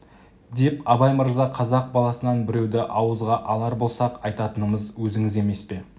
деп абай мырза қазақ баласынан біреуді ауызға алар болса-ақ айтатынымыз өзіңіз емес пе